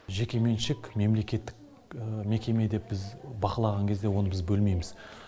жекеменшік мемлекеттік мекеме деп біз бақылаған кезде оны біз бөлмейміз